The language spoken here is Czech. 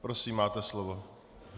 Prosím, máte slovo.